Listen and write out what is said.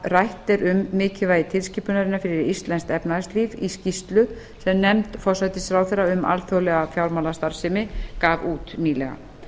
rætt er um mikilvægi tilskipunarinnar fyrir íslensk efnahagslíf í skýrslu sem nefnd forsætisráðherra um alþjóðlega fjármálastarfsemi gaf út nýlega